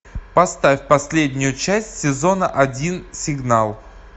поставь последнюю часть сезона один сигнал